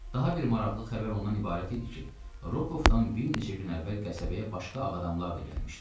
Daha bir maraqlı xəbər ondan ibarət idi ki, Rokovdan bir neçə gün əvvəl qəsəbəyə başqa ağ adamlar da gəlmişdilər.